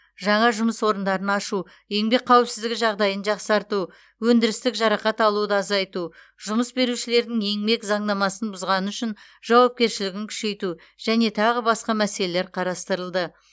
жаңа жұмыс орындарын ашу еңбек қауіпсіздігі жағдайын жақсарту өндірістік жарақат алуды азайту жұмыс берушілердің еңбек заңнамасын бұзғаны үшін жауапкершілігін күшейту және тағы басқа мәселелер қарастырылды